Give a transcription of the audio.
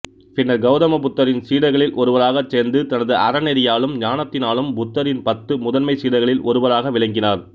பின்னர் கௌதமபுத்தரின் சீடர்களில் ஒருவராகச் சேர்ந்து தனது அறநெறியாலும் ஞானத்தினாலும் புத்தரின் பத்து முதன்மைச் சீடர்களில் ஒருவராக விளங்கினார்